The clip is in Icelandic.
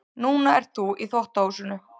Núna ert þú í þvottahúsinu.